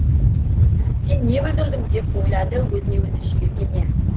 сен не бүлдірдің деп ойлады өзіне өзі жиіркене